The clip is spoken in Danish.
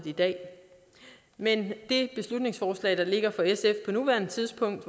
i dag men det beslutningsforslag der ligger fra sf på nuværende tidspunkt